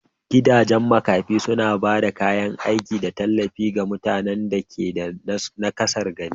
Gidajen makafi suna ba da kayan aiki da tallafi ga mutanen da ke da naƙasar gani